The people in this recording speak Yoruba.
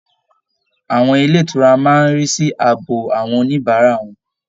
Àwọn ilé ìtura máa ń rí sí ààbò àwọn oníbàárà wọn